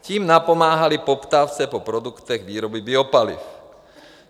Tím napomáhali poptávce po produktech výroby biopaliv.